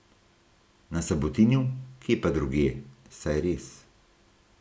Na Sabotinu, kje pa drugje, saj res.